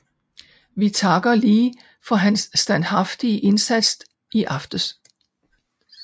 Vi takker Lee for hans standhaftige indsats i aftes